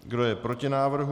Kdo je proti návrhu?